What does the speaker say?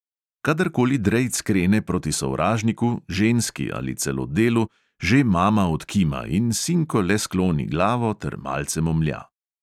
Kadarkoli drejc krene proti sovražniku, ženski ali celo delu, že mama odkima in sinko le skloni glavo ter malce momlja.